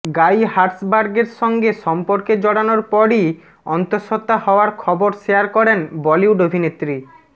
গাই হার্সবার্গের সঙ্গে সম্পর্কে জড়ানোর পরই অন্তঃসত্ত্বা হওয়ার খবর শেয়ার করেন বলিউড অভিনেত্রী